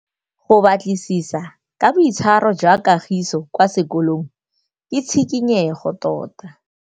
Go batlisisa ka boitshwaro jwa Kagiso kwa sekolong ke tshikinyêgô tota.